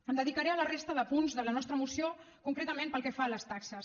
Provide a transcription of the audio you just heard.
em dedicaré a la resta de punts de la nostra moció concretament pel que fa a les taxes